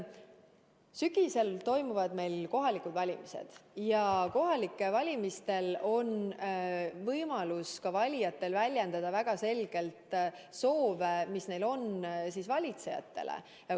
Sügisel toimuvad meil kohalikud valimised ja siis on valijatel võimalus väljendada väga selgelt soove, mis neil on valitsejatele.